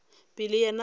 pele yena o be a